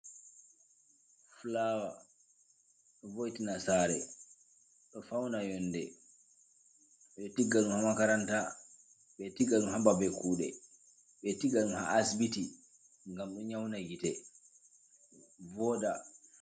Fulawa vo'itina sare do fauna yonɗe ɓe tigga ɗum ha makaranta be tigga ha baɓe kude be tigga ɗum ha asibiti ngam ɗo nyauda gite voɗa.